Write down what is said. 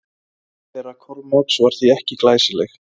Heimkoma þeirra Kormáks var því ekki glæsileg.